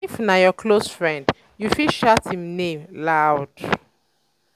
if na your close friend um you fit shout im name um loud.